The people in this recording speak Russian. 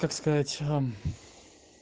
как сказать